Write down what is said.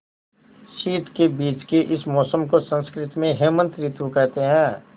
शीत के बीच के इस मौसम को संस्कृत में हेमंत ॠतु कहते हैं